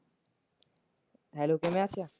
hello ਕਿਵੇਂ ਆਖਿਆ?